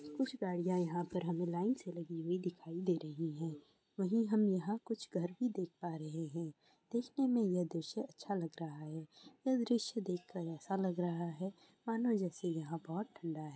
कुछ गाड़ियां यहाँ पर हमे लाइन से लगी हुई दिखाई दे रही है। वहीं हम यहाँ कुछ घर देख पा रहे हैं। देखने में यह दृश्य अच्छा लग रहा है। यह दृश्य देख कर ऐसा लग रहा है मानो जैसे यहाँ बहुत ठंडा है।